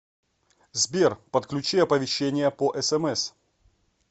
сбер подключи оповещения по смс